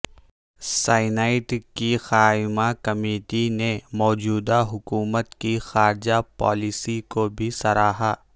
senate کی قائمہ committee نے موجودہ حکومت کی خارجہ پالیسی کو بھی سراہا